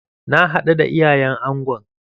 Na haɗu da iyayen angon.